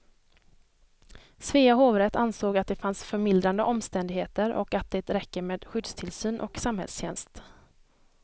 Svea hovrätt ansåg att det fanns förmildrande omständigheter och att det räcker med skyddstillsyn och samhällstjänst.